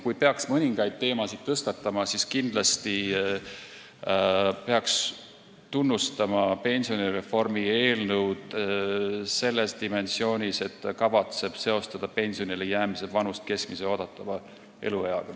Kui peaks mõningaid teemasid tõstatama, siis kindlasti tuleks tunnustada pensionireformi eelnõu selles dimensioonis, et kavatsetakse seostada pensionile jäämise vanust keskmise oodatava elueaga.